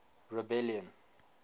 rebellion